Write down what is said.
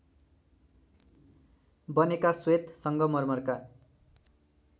बनेका श्वेत सङ्गमर्मरका